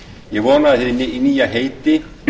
ég vona að hið nýja heiti